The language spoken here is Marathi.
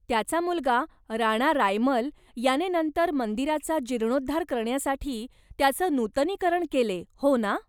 त्याचा मुलगा राणा रायमल याने नंतर मंदिराचा जीर्णोद्धार करण्यासाठी त्याचं नूतनीकरण केले, हो ना?